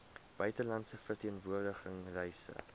buitelandse verteenwoordiging reise